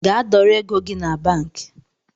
Gaa dọrọ ego gi na banki